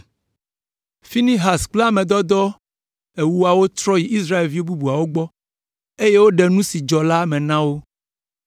Finehas kple ame dɔdɔ ewoawo trɔ yi Israelvi bubuawo gbɔ, eye woɖe nu si dzɔ la me na wo.